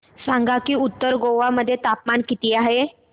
सांगा की उत्तर गोवा मध्ये तापमान किती आहे